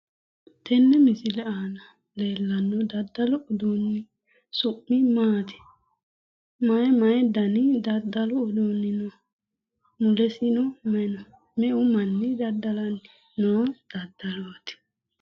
Tene misile aana leellanno daddalu uduunni su'mi maati? Mayi mayi dani daddalu uduunni no? mulesino mayi no? Me"u manni daddalanni noo daddalooti?